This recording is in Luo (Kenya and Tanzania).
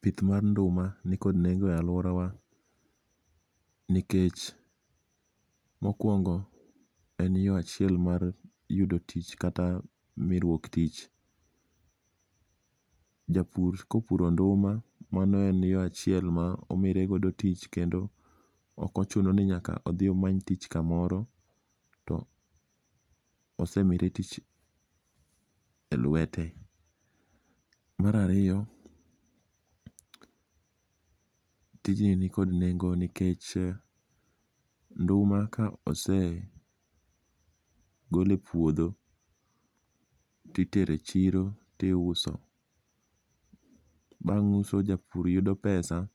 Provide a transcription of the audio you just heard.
pith mar nduma nikod nengo' e aluorawa, nikech mokuongo en yo achiel mar yudo tich kata miruok tich, japur kopuro nduma mano en yo achiel ma omiregodo tich kendo okochuno ni nyaka othi omany tich kamoro to osemire tich e lwete. Mar ariyo tijni nikod nengo' nikech nduma ka osegole puotho titere chiro tiuso bang' uso japur yudo pesa